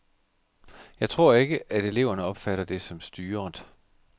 Jeg tror ikke, at eleverne opfatter det som styret.